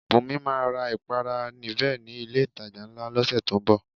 Bùnmi máa ra ìpara Nivea ni ilé-ìtajà ńlá lọ́sẹ̀ tó ń bọ̀